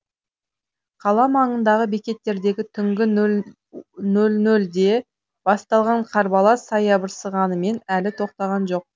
қала маңындағы бекеттердегі түнгі нөл нөлде басталған қарбалас саябырсығанымен әлі тоқтаған жоқ